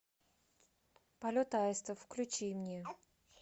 полет аиста включи мне